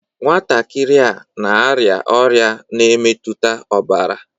Nwatakịrị a n'arịa ọrịa na-emetuta ọbara.